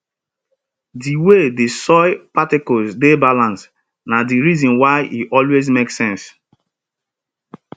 di way di soil particles dey balanced na di reason why e always make sense